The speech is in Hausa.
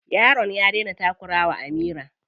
Yaron ya daina takura wa Amira.